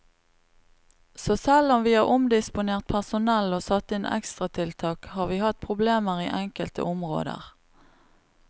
Så selv om vi har omdisponert personell og satt inn ekstratiltak, har vi hatt problemer i enkelte områder.